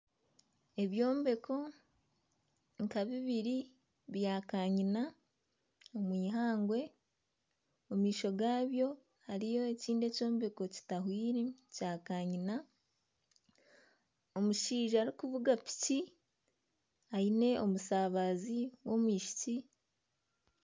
Ebyombeko nka bibiri bya kanyina omw'eihangwe omu maisho gaabyo hariyo ekyombeko ekindi ekitahwire kya kanyina. Omushaija arikuvuga piki aine omusaabazi w'omwishiki.